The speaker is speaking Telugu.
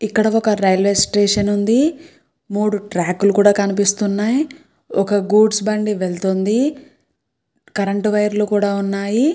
ఇక్కడ ఒక రైల్వే స్టేషన్ ఉంది. మూడు ట్రాక్లు కూడా కనిపిస్తున్నాయి. ఒక గూడ్స్ బండి వెళ్తుంది. కరెంటు వైర్లు కూడా ఉన్నాయి.